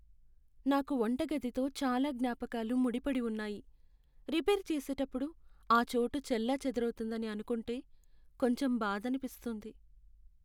నాకు వంటగదితో చాలా జ్ఞాపకాలు ముడిపడి ఉన్నాయి, రిపేర్ చేసేటప్పుడు ఆ చోటు చెల్లాచెదరవుతుందని అనుకుంటే కొంచెం బాధనిపిస్తుంది.